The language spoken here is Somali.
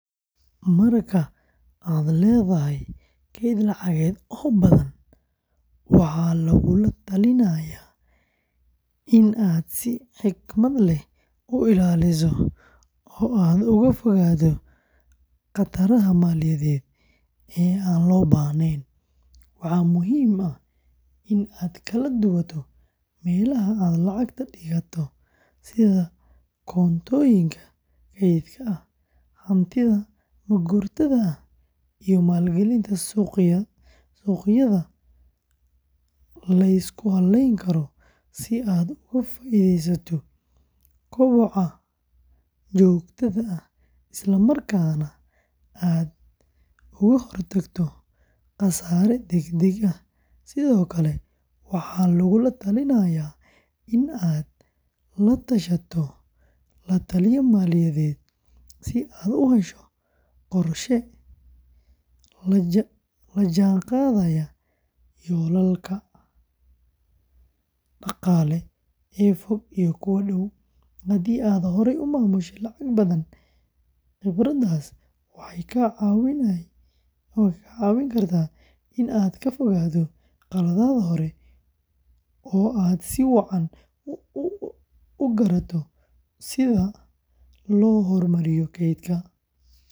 Marka aad leedahay kayd lacageed oo badan, waxaa lagula talinayaa in aad si xikmad leh u ilaaliso oo aad uga fogaato khataraha maaliyadeed ee aan loo baahnayn; waxaa muhiim ah in aad kala duwato meelaha aad lacagta dhigato sida koontooyinka kaydka ah, hantida ma-guurtada ah, iyo maalgelinta suuqyada la isku halleyn karo si aad uga faa'iidaysato koboca joogtada ah, isla markaana aad uga hortagto khasaare degdeg ah; sidoo kale waxaa lagula talinayaa in aad la tashato la-taliye maaliyadeed si aad u hesho qorshe la jaan qaadaya yoolalkaaga dhaqaale ee fog iyo kuwa dhow; haddii aad horay u maamushay lacag badan, khibraddaas waxay kaa caawin kartaa in aad ka fogaato khaladaad hore oo aad si wacan u garato sida loo horumariyo kaydkaaga.